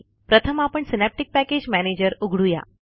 प्रथम आपण synaptic package manager उघडू या